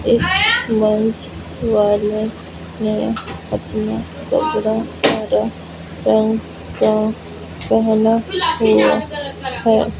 इस मंच वाले नें अपना कपड़ा हरा रंग का पहना हुआ है।